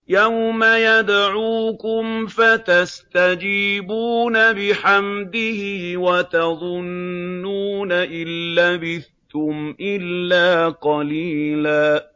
يَوْمَ يَدْعُوكُمْ فَتَسْتَجِيبُونَ بِحَمْدِهِ وَتَظُنُّونَ إِن لَّبِثْتُمْ إِلَّا قَلِيلًا